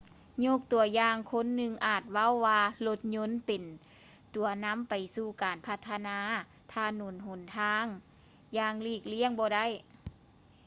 ຍົກຕົວຢ່າງ ຄົນໜຶ່ງອາດເວົ້າວ່າ ລົດຍົນ ເປັນຕົວນຳໄປສູ່ການພັດທະນາຖະໜົນຫົນທາງຢ່າງຫຼີກລ້ຽງບໍ່ໄດ້